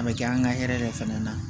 A bɛ kɛ an ka hɛrɛ de fana na